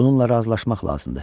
Bununla razılaşmaq lazımdır.